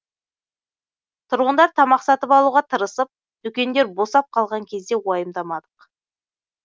тұрғындар тамақ сатып алуға тырысып дүкендер босап қалған кезде уайымдамадық